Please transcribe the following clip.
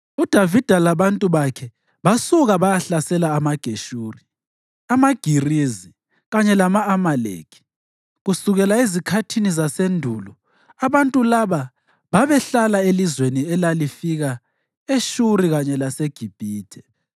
UDavida labantu bakhe basuka bayahlasela amaGeshuri, amaGirizi kanye lama-Amaleki. (Kusukela ezikhathini zasendulo abantu laba babehlale elizweni elalifika eShuri kanye laseGibhithe.)